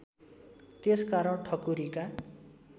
त्यस कारण ठकुरीका